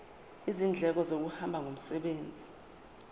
izindleko zokuhamba ngomsebenzi